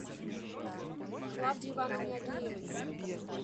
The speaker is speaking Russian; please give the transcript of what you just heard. клавдии ивановне агеевой